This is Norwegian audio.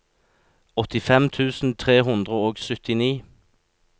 åttifem tusen tre hundre og syttini